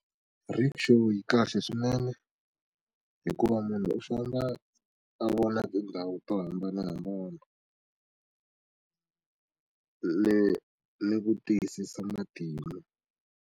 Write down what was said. Rikshaw yi kahle swinene hikuva munhu u famba a vona tindhawu to hambanahambana le ni ku tiyisisa matimu.